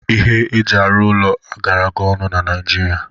Ihe eji arụ ụlọ agarago ọnụ na Naịjirịa